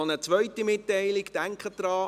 Noch eine zweite Mitteilung: Denken Sie daran: